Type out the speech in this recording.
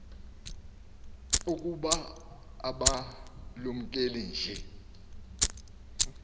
ukuba abalumke nje